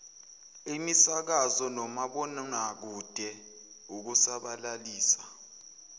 imisakazo nomabonwakude ukusabalalisa